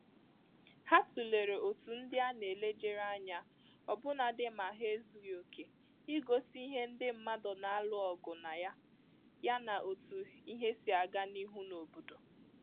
Ha tụlere otú ndị a na-elejere anya ọbụnadị ma ha ezughị oke i egosi ihe ndị mmadụ na-alụ ọgụ na ya, yana otú ihe si aga n’ihu n’obodo